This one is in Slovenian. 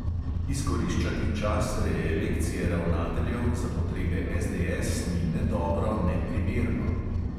Izkoriščati čas reelekcije ravnateljev za potrebe SDS ni ne dobro ne primerno.